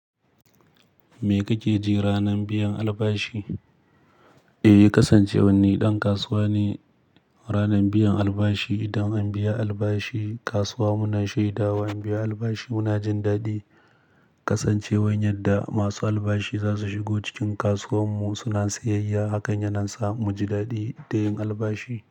Mi kake ji ranar biyan albashi? Eh, kasancewan ni ɗan kasuwa ne. Ranar biyan albashi idan an biya albashi, kasuwa muna shaida wa an biya albashi muna jin daɗi. Kasancewar yadda masu albashi za su shigo cikin kasuwar mu suna siyayya. Hakan yana sa mu ji daɗi da yin albashi.